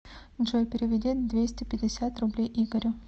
джой переведи двести пятьдесят рублей игорю